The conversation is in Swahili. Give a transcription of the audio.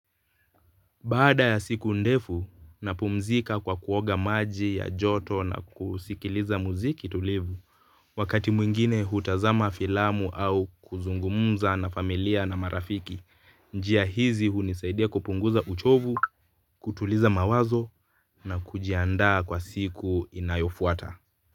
Baada ya siku ndefu na pumzika kwa kuoga maji ya joto na kusikiliza muziki tulivu wakati mwingine hutazama filamu au kuzungumuza na familia na marafiki. Njia hizi hunisaidia kupunguza uchovu, kutuliza mawazo na kujiandaa kwa siku inayofuata.